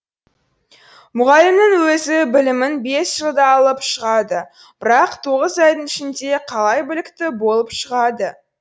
мұғалімнің өзі білімін бес жылда алып шығады бірақ тоғыз айдың ішінде қалай білікті болып шығады